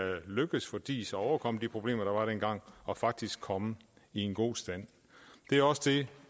lykkedes for diis at overkomme de problemer der var dengang og faktisk komme i en god stand det er også det